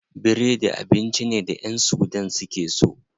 Biredi abinci ne da ƴan sudan suke so.